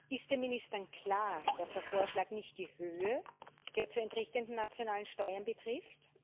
Ist den Ministern klar, dass der Vorschlag nicht die Höhe der zu entrichtenden nationalen Steuern betrifft?